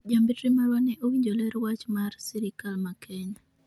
Jambetre marwa ne owinjo ler wach mar Sirikal ma Kenya